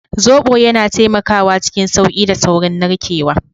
Zobo yana taimakawa cikin sauƙi da saurin narkewa.